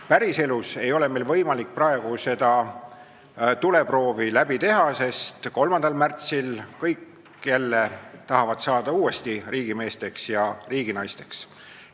Päriselus ei ole meil võimalik praegu seda tuleproovi läbi teha, sest 3. märtsil tahavad kõik jälle uuesti riigimeesteks ja riiginaisteks saada.